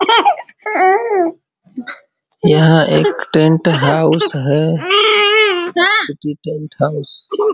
यह एक tent house है।